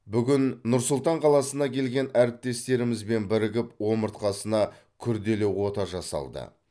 бүгін нұр сұлтан қаласынан келген әріптестерімізбен бірігіп омыртқасына күрделі ота жасалды